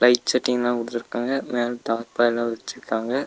Light செட்டிங்லா குடுத்துருக்காங்க மேல தார்பாய்லா விருச்சிருக்காங்க.